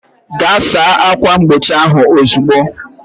Gaa saa ákwà mgbochi ahụ ozugbo!